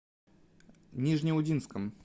нижнеудинском